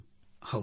ಹೌದು ಸರ್